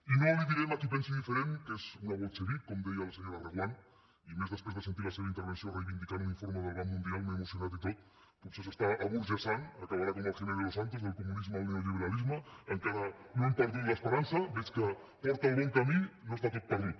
i no li direm a qui pensi diferent que és una bolxevic com deia la senyora reguant i més després de sentir la seva intervenció reivindicant un informe del banc mundial m’he emocionat i tot potser s’està aburgesant acabarà com el jiménez losantos del comunisme al neoliberalisme encara no hem perdut l’esperança veig que porta el bon camí no està tot perdut